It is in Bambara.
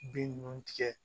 Bin ninnu tigɛ